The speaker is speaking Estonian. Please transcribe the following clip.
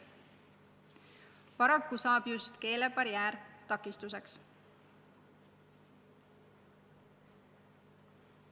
Paraku saab just keelebarjäär takistuseks.